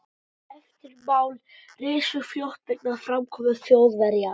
Eftirmál risu fljótt vegna framkomu Þjóðverja.